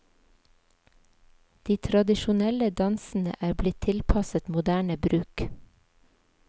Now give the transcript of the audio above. De tradisjonelle dansene er blitt tilpasset moderne bruk.